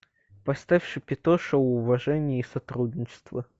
поставь шапито шоу уважение и сотрудничество